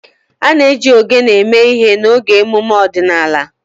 A na-eji ogene eme ihe n'oge emume ọdịnala.